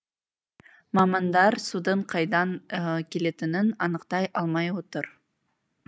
мамандар судың қайдан келетінін анықтай алмай отыр